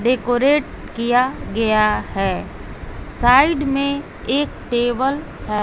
Decorate किया गया है साइड में एक टेबल है।